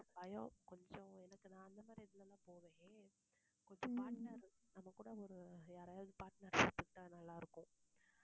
பயம் கொஞ்சம் எனக்கு நான் அந்தமாதிரி இதுல எல்லாம் போவேன் கொஞ்சம் partner நம்மகூட ஒரு யாரையாவது partner சேர்த்துக்கிட்ட நல்லாருக்கும்